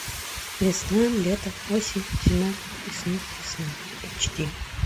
весна лето осень зима и снова весна эйч ди